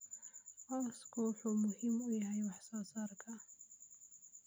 Cawsku wuxuu muhiim u yahay wax soo saarka.